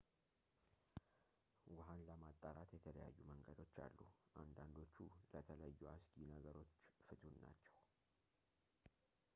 ውሃን ለማጣራት የተለያዩ መንገዶች አሉ አንዳንዶቹ ለተለዩ አስጊ ነገሮች ፍቱን ናቸው